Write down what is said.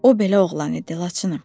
O belə oğlan idi Laçınım.